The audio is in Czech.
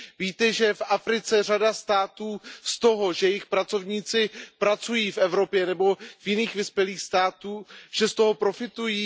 Víte, že v Africe řada států z toho, že jejich pracovníci pracují v Evropě nebo v jiných vyspělých státech, profitují?